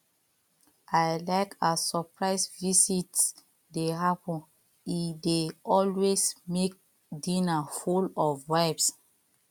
i like as surprise visits dey happen e dey always make dinner full of vibes